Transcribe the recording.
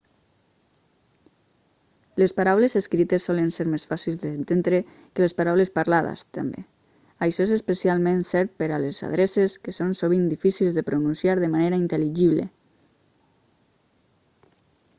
les paraules escrites solen ser més fàcils d'entendre que les paraules parlades també això és especialment cert per a les adreces que són sovint difícils de pronunciar de manera intel·ligible